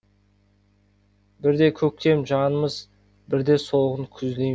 бірде көктем жанымыз бірде солғын күздей